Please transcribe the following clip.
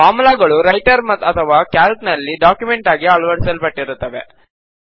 formula ಗಳು Writer ಅಥವಾ Calc ನಲ್ಲಿ ಡಾಕ್ಯುಮೆಂಟ್ ಆಗಿ ಅಳವಡಿಸಲ್ಪಟ್ಟಿರುತ್ತವೆ